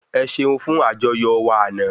Ẹ ṣeun fún àjọyọ̀ wa àná